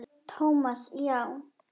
Thomas, já.